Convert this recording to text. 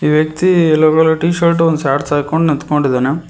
ವ್ಯಕ್ತಿ yellow colour T-shirt ಒಂದ shorts ಹಾಕೊಂಡ್ ನಿಂತ್ಕೊಂಡಿದಾನೆ.